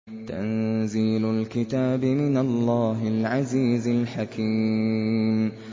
تَنزِيلُ الْكِتَابِ مِنَ اللَّهِ الْعَزِيزِ الْحَكِيمِ